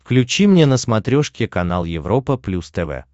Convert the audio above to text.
включи мне на смотрешке канал европа плюс тв